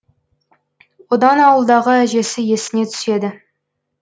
одан ауылдағы әжесі есіне түседі